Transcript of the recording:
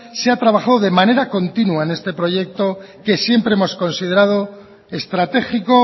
se ha trabajado de manera continua en este proyecto que siempre hemos considerado estratégico